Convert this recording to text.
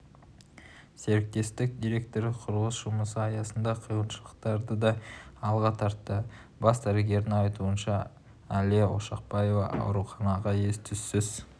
серіктестік директоры құрылыс жұмысы аясындағы қиыншылықтарды да алға тартты бас дәрігердің айтуынша әлия ошақбаева ауруханаға ес-түссіз